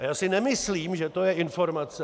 A já si nemyslím, že to je informace...